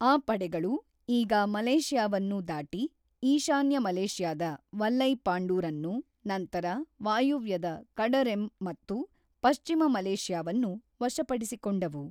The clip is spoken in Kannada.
ಆ ಪಡೆಗಳು ಈಗ ಮಲೇಷ್ಯಾವನ್ನು ದಾಟಿ ಈಶಾನ್ಯ ಮಲೇಷ್ಯಾದ ವಲ್ಲೈಪಾಂಡೂರ್ ಅನ್ನು, ನಂತರ ವಾಯುವ್ಯದ ಕಡರೆಮ್ ಮತ್ತು ಪಶ್ಚಿಮ ಮಲೇಷ್ಯಾವನ್ನು ವಶಪಡಿಸಿಕೊಂಡವು.